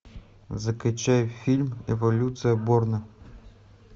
закачай фильм эволюция борна